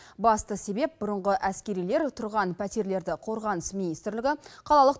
басты себеп бұрынғы әскерилер тұрған пәтерлерді қорғаныс министрлігі қалалық